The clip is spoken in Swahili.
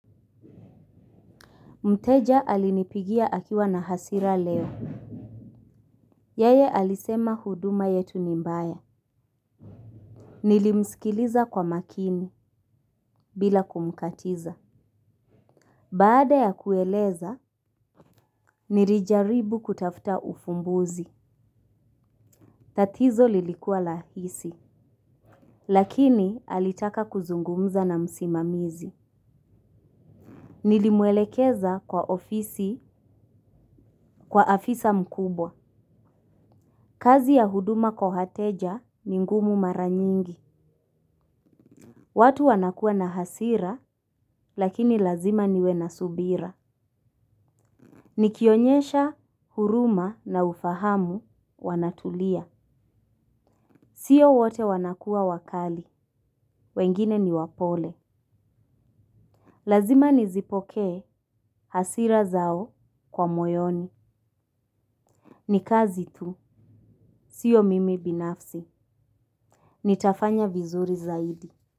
Mteja alinipigia akiwa na hasira leo. Yeye alisema huduma yetu ni mbaya. Nilimsikiliza kwa makini bila kumkatiza. Baada ya kueleza, nirijaribu kutafta ufumbuzi. Tatizo lilikua lahisi. Lakini alitaka kuzungumza na msimamizi. Nilimwelekeza kwa ofisi kwa afisa mkubwa. Kazi ya huduma kwa hateja ni ngumu mara nyingi. Watu wanakua na hasira lakini lazima niwe na subira. Nikionyesha huruma na ufahamu wanatulia. Sio wote wanakua wakali, wengine ni wapole. Lazima nizipokee hasira zao kwa moyoni. Ni kazi tu, sio mimi binafsi. Nitafanya vizuri zaidi.